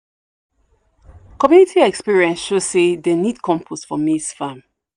community experience show say dem need compost for maize farm